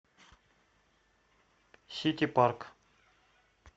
сити парк